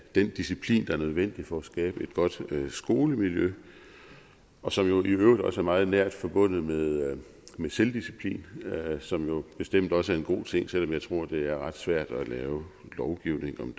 den disciplin der er nødvendig for at skabe et godt skolemiljø og som i øvrigt også er meget nært forbundet med selvdisciplin som bestemt også er en god ting selv om jeg tror det er ret svært at lave lovgivning om